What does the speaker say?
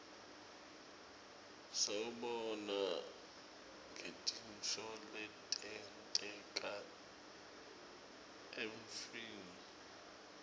siwubona ngetintfo letenteka evfni